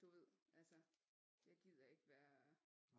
Du ved altså jeg gider ikke være